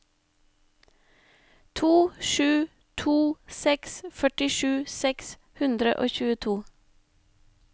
to sju to seks førtisju seks hundre og tjueto